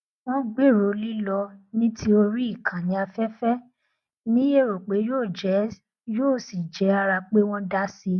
wọn gbèrò lílọ ní tí orí ìkànnì afẹfẹ ní èrò pé yóò sì jẹ ara pé wọn dá sí i